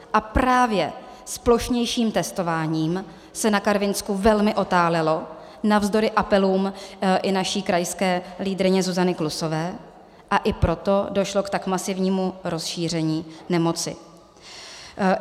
A právě s plošnějším testováním se na Karvinsku velmi otálelo, navzdory apelům i naší krajské lídryně Zuzany Klusové, a i proto došlo k tak masivnímu rozšíření nemoci.